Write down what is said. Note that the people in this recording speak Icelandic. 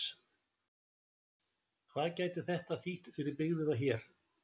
Hvað gæti þetta þýtt fyrir byggðina hér?